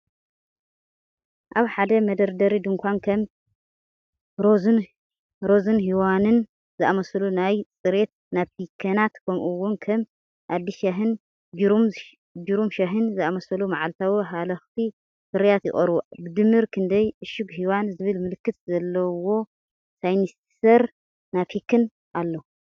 ኣብ ሓደ መደርደሪ ድኳን ከም 'ሮዝ'ን 'ሄዋን'ን ዝኣመሰሉ ናይ ጽሬት ናፕኪናት፡ ከምኡ'ውን ከም 'ኣዲስ ሻሂ'ን 'ጂሩም' ሻሂን ዝኣመሰሉ መዓልታዊ ሃለኽቲ ፍርያት ይቐርቡ። ብድምር ክንደይ ዕሹግ 'ሄዋን' ዝብል ምልክት ዘለዎ ሳኒታይዘር ናፕኪን ኣሎ?